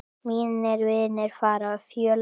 Mínir vinir fara fjöld.